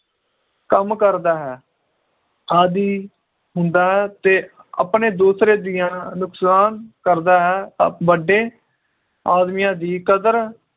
ਕੰਮ ਕਰਦਾ ਹੈ ਆਦੀ ਹੁੰਦਾ ਏ ਤੇ ਆਪਣੇ ਦੂਸਰੇ ਜੀਆਂ ਨੁਕਸਾਨ ਕਰਦਾ ਹੈ ਤੇ ਵੱਡੇ ਆਦਮੀਆਂ ਦੀ ਕਦਰ